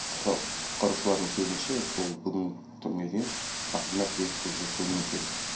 құтқар құтқарушылардың сөзінше бұл бүгін түнге дейін ақырындап өрт уже сөнуі керек